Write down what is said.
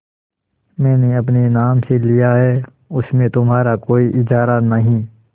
मैंने अपने नाम से लिया है उसमें तुम्हारा कोई इजारा नहीं